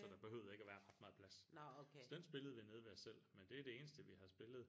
Så der behøvede ikke være ret meget plads